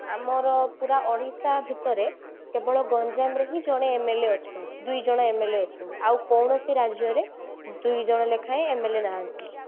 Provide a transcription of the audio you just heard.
ଆମର ପୁରା ଓଡିଶା ଭିତରେ କେବଳ ଗଞ୍ଜାମରେ ହିଁ ଜଣେ MLA ଅଛନ୍ତି ଦୁଇଜଣ MLA ଅଛନ୍ତି ଆଉ କୌଣସି ରାଜ୍ୟରେ ଦୁଇଜଣ ଲେଖାଏ MLA ନାହାନ୍ତି